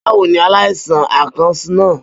Bawo ni alaisan akàn naa?